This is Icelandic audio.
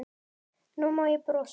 Nú má ég brosa.